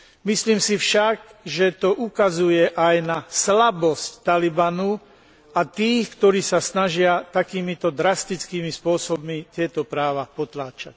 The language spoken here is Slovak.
Myslím si však, že to ukazuje aj na slabosť Talibanu a tých, ktorí sa snažia takýmito drastickými spôsobmi tieto práva potláčať.